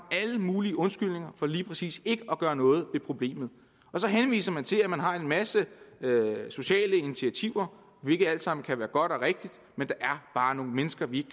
alle mulige undskyldninger for lige præcis ikke at gøre noget ved problemet og så henviser man til at man har en masse sociale initiativer hvilket alt sammen kan være godt og rigtigt men der er bare nogle mennesker vi